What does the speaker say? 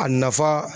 A nafa